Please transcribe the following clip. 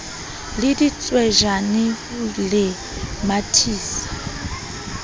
le ditswejane ho le mathisa